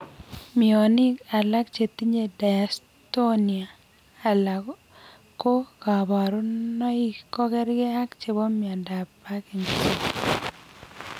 Mionik alak chetinye dystonia alako kaborunoik kokerkee ak chebo miondab parkinson's